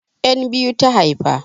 'Yan biyu ta haifa.